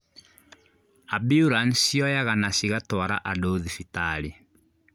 Ambulanĩcĩ cioyaga na cigatwara andũ thibitarĩ